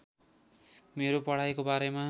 मेरो पढाइको बारेमा